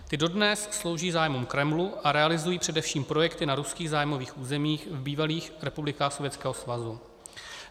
Ty dodnes slouží zájmům Kremlu a realizují především projekty na ruských zájmových územích v bývalých republikách Sovětského svazu.